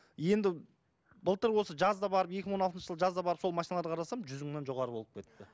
енді былтыр осы жазда барып екі мың он алтыншы жылы жазда барып сол машиналарды қарасам жүз мыннан жоғары болып кетіпті